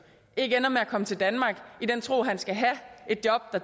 ikke ender med at komme til danmark i den tro at han skal have et job der